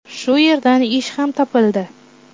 Shu yerdan ish ham topildi.